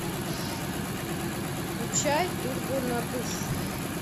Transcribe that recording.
включай турбонадув